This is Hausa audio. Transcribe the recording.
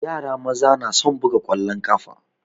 Yara maza na son buga ƙwallon ƙafa.